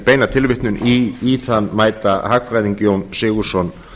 beina tilvitnun í þann mæta hagfræðing jón sigurðsson